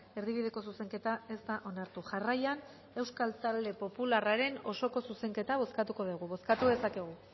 erdibideko zuzenketa ez da onartu jarraian euskal talde popularraren osoko zuzenketa bozkatuko dugu bozkatu dezakegu